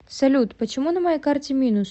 салют почему на моей карте минус